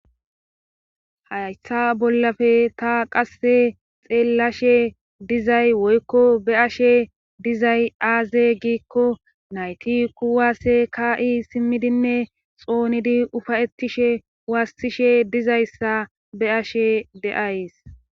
haytha bollafe ta qasse xeellashe dizay woykko be'ashe dizay aaze giikko nayti kuwaasse ka'i simmidinne xoonidi ufayettishe waassishe dizayssa be'ashe de'ays